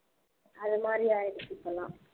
அது மாதிரி ஆகிடுச்சி இப்போ எல்லாம்